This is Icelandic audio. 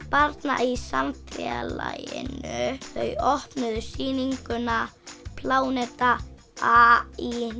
barna í samfélaginu þau opnuðu sýninguna pláneta a í